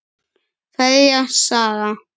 Kveðja, Saga.